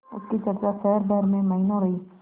उसकी चर्चा शहर भर में महीनों रही